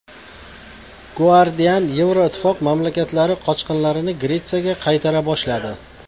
Guardian: Yevroittifoq mamlakatlari qochqinlarni Gretsiyaga qaytara boshladi.